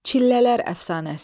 Çillələr əfsanəsi.